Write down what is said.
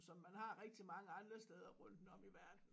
Som man har rigtig mange andre steder rundt om i verden